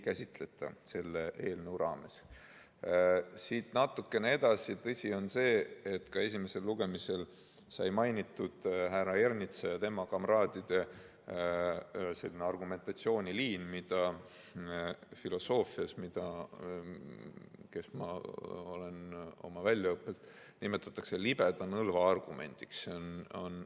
Kui siit natukene edasi minna, siis tõsi on, et ka esimesel lugemisel sai mainitud härra Ernitsa ja tema kamraadide argumentatsiooniliini, mida filosoofias – see on väljaõppe poolest minu eriala – nimetatakse libeda nõlva argumendiks.